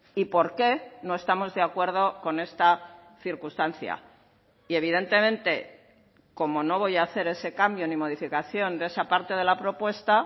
y por qué no estamos de acuerdo con esta circunstancia y evidentemente como no voy a hacer ese cambio ni modificación de esa parte de la propuesta